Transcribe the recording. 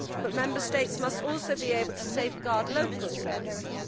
But Member States must also be able to safeguard local services.